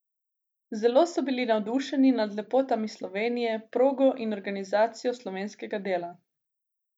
Zelo so bili navdušeni nad lepotami Slovenije, progo in organizacijo slovenskega dela.